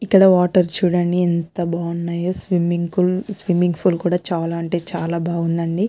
ఇక్కడ వాటర్ చుడండి ఎంత బాగున్నాయో స్విమ్మింగ్ కూల్ చాల అంటే చాల బాగుందండి.